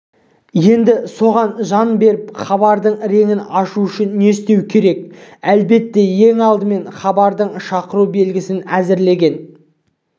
енді соған жан бітіріп хабардың реңін ашу үшін не істеу керек әлбетте ең алдымен хабардың шақыру белгісін әзірлеген